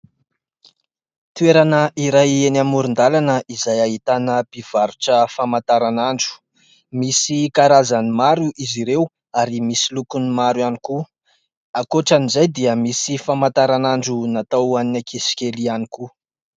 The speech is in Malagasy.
Toerana iray eny amoron-dalana izay ahitana mpivarotra famantaranandro, misy karazany maro izy ireo ary misy lokony maro ihany koa, ankoatran'izay dia misy famantaranandro natao hoan'ny ankizy kely ihany koa.